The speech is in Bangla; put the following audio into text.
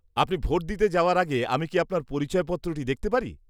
আপনি ভোট দিতে যাওয়ার আগে আমি কি আপনার পরিচয়পত্রটি দেখতে পারি?